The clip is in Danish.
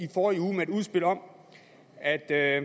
forrige uge med et udspil om at at